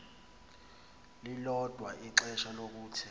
lilodwa ixesha lokuthe